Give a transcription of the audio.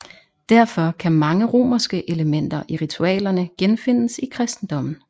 Derfor kan mange romerske elementer i ritualerne genfindes i kristendommen